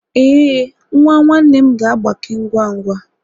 Ee, nwa nwanne m ga-agbake ngwa ngwa